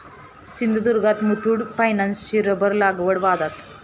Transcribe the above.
सिंधुदुर्गात मुथूट फायनान्सची रबर लागवड वादात!